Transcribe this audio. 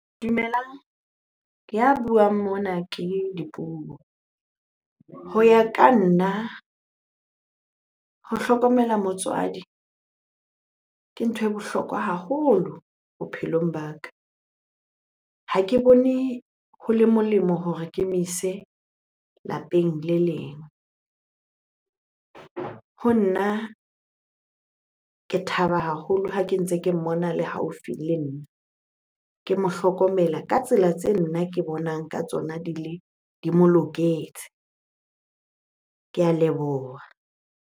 Dumelang, ya buang mona ke Dipuo. Ho ya ka nna, ho hlokomela motswadi ke ntho e bohlokwa haholo bophelong ba ka. Ha ke bone ho le molemo hore ke mo ise lapeng le leng. Ho nna ke thaba haholo ha ke ntse ke mmona a le haufi le nna. Ke mo hlokomela ka tsela tse nna ke bonang ka tsona di le, di mo loketse. Ke a leboha.